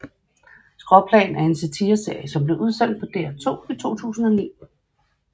Skråplan er en satireserie som blev sendt på DR2 i 2009